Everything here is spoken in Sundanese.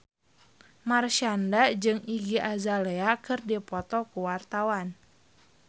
Marshanda jeung Iggy Azalea keur dipoto ku wartawan